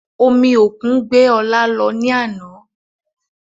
Omi òkun gbé ọ̀la lọ ní àná